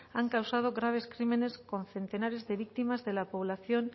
han causado graves crímenes con centenares de víctimas de la población